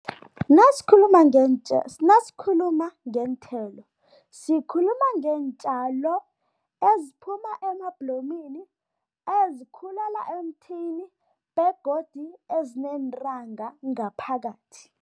Nasikhuluma nasikhuluma ngeenthelo, sikhuluma ngeentjalo eziphuma emabhlomini, ezikhulela emthini begodu ezineentanga ngaphakathi.